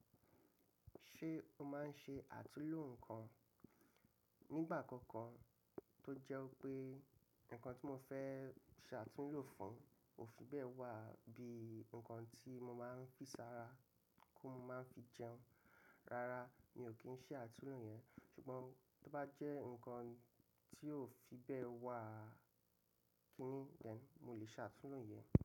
Ṣé o maa n ṣe àtúnlò nǹkan? Nígbà kankan tó jẹ́ wípé nǹkan tí mo fẹ́ se àtúnhlò fún ò fi bẹ́ẹ̀ wà bí i nǹkan tí mo máa n pín sára kí n má fi jẹun, rárá mi ò kí n ṣe àtúnlò yẹn. Ṣùgbọ́n tó bá jẹ́ nǹkan tí ò fi bẹ́ẹ̀ wà, kíní yẹn mo lè ṣe atunlo yẹn.